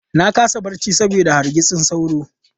Na kasa barci saboda hargitsin sauro.